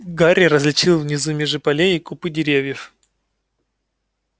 гарри различил внизу межи полей и купы деревьев